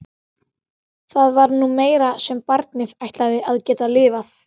Það var nú meira sem barnið ætlaði að geta lifað.